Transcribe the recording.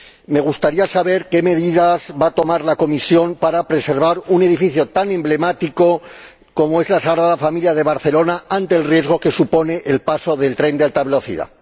Me gustaría saber qué medidas va a tomar la Comisión para preservar un edificio tan emblemático como es la Sagrada Familia de Barcelona ante el riesgo que supone el paso del tren de alta velocidad.